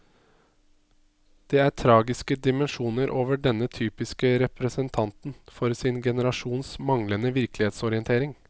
Det er tragiske dimensjoner over denne typiske representanten for sin generasjons manglende virkelighetsorientering.